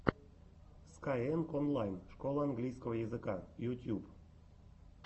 скайэнг онлайн школа английского языка ютьюб